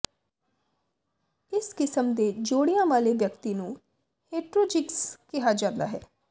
ਇਸ ਕਿਸਮ ਦੇ ਜੋੜਿਆਂ ਵਾਲੇ ਵਿਅਕਤੀ ਨੂੰ ਹੇਟਰੋਜੀਗਸ ਕਿਹਾ ਜਾਂਦਾ ਹੈ